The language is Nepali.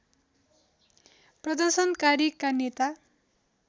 प्रदर्शनकारीका नेता